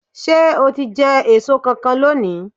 Ṣé o ti jẹ èso kankan lónìí?